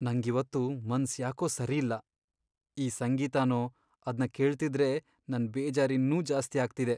ನಂಗಿವತ್ತು ಮನ್ಸ್ ಯಾಕೋ ಸರಿಯಿಲ್ಲ.. ಈ ಸಂಗೀತನೋ.. ಅದ್ನ ಕೇಳ್ತಿದ್ರೆ ನನ್ ಬೇಜಾರಿನ್ನೂ ಜಾಸ್ತಿ ಆಗ್ತಿದೆ.